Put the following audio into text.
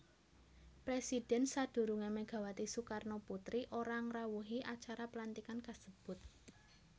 Presidhèn sadurungé Megawati Soekarnoputri ora ngrawuhi acara pelantikan kasebut